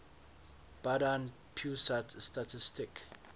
badan pusat statistik